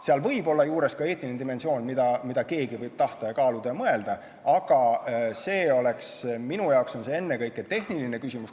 Seal võib olla juures ka eetiline dimensioon, mida keegi võib tahta, kaaluda ja mõelda, aga see oleks minu jaoks ennekõike tehniline küsimus.